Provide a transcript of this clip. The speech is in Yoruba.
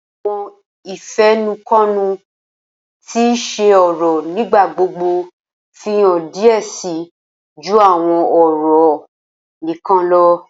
Awọn ifẹnukonu ti kii ṣe ọrọ nigbagbogbo fihan diẹ sii ju awọn ọrọ nikan lọ.